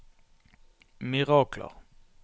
mirakler